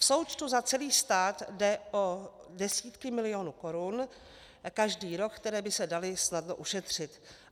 V součtu za celý stát jde o desítky milionů korun každý rok, které by se daly snadno ušetřit.